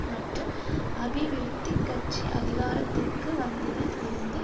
மற்றும் அபிவிருத்தி கட்சி அதிகாரத்திற்கு வந்ததில் இருந்து